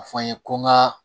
A fɔ an ye ko n ka